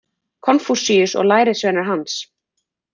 Konfúsíus og lærisveinar hans.